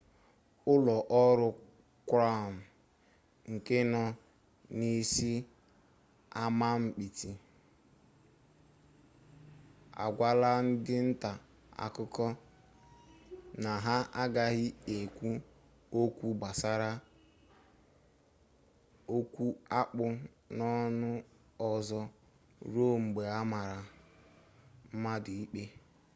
ụlọ ọrụ krawn nke nọ n'isi amamikpe agwala ndị nta akụkọ na ha agaghị ekwu okwu gbasara okwu akpụ n'ọnụ ozo ruo mgbe amara mmadụ ikpe